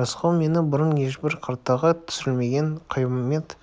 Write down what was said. рысқұл мені бұрын ешбір картаға түсірілмеген қиямет